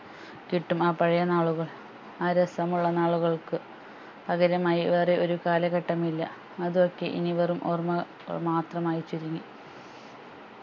കിട്ടും ആ പഴയ നാളുകൾ ആ രസം ഉള്ളനാളുകൾക്കു പകരമായി വേറെ ഒരു കാലഘട്ടം ഇല്ല അത് ഒക്കെ ഇനി വെറും ഓർമ്മകൾ മാത്രമായി ചുരുങ്ങി